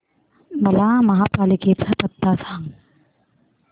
मला महापालिकेचा पत्ता सांग